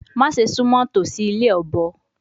Ma Se sumo tosi ile obo